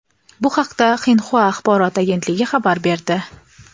Bu haqda Xinhua axborot agentligi xabar berdi.